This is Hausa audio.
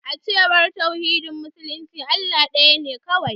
A cewar tauhidin musulmi, Allah daya ne kawai.